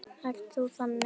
Ert þú þannig?